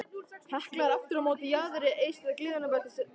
Hekla er aftur á móti á jaðri eystra gliðnunarbeltisins á